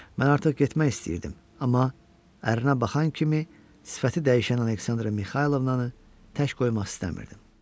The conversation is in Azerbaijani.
Mən artıq getmək istəyirdim, amma ərinə baxan kimi sifəti dəyişən Aleksandra Mixaylovnanı tək qoymaq istəmirdim.